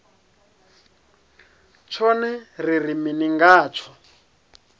tshone ri ri mini ngatsho